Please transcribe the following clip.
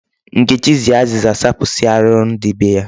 Nkechi ji azịza zapụsịa arụrụ dị be ya.